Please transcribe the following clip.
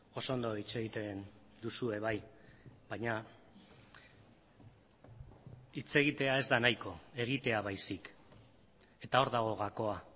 oso ondo hitz egiten duzue bai baina hitz egitea ez da nahiko egitea baizik eta hor dago gakoa